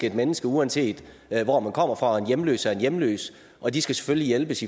et menneske uanset hvor man kommer fra og en hjemløs og en hjemløs og de skal selvfølgelig hjælpes